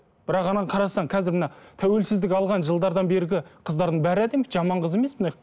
бірақ ананы қарасаң қазіргі мына тәуелсіздік алған жылдардан бергі қыздардың бәрі әдемі жаман қыз емес